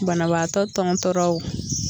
Banabaatɔ tɔntɔnra o